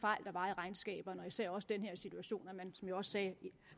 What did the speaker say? fejl der var i regnskaberne og især også i den her situation som jeg også sagde